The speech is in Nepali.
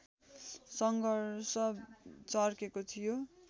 सङ्घर्ष चर्केको थियो